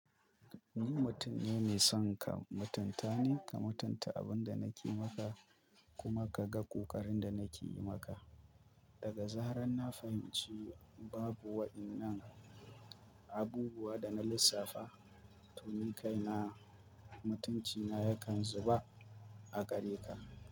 Ni mutum ne mai son ka mutunta ni ka mutunta abin da nake maka kuma ka ga ƙoƙarin da nake yi maka. Daga zarar na fahimci babu waɗannan abubuwa da na lissafa, to ni kaina mutuncina yakan zuba a gare ka.